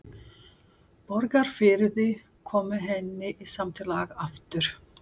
Borgarfirði, kom henni í samt lag aftur.